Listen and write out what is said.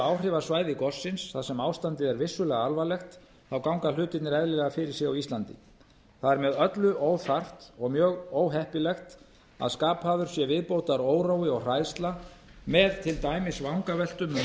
áhrifasvæði gossins þar sem ástandið er vissulega alvarlegt ganga hlutirnir eðlilega fyrir sig á ísland það er með öllu óþarfi og mjög óheppilegt að skapaður sé viðbótarórói og hræðsla með til dæmis vangaveltum um